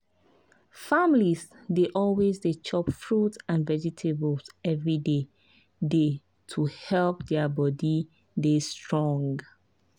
families dey always dey chop fruit and vegetables every day day to help their body dey strong.